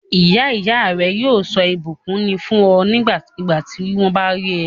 Ìyá ìyá rẹ yóò sọ ìbùkún ni fún ẹ nígbàkigbà tí wọ́n bá rí ẹ.